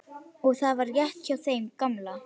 Og það var rétt hjá þeim gamla.